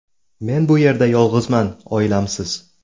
Men bu yerda yolg‘izman, oilamsiz.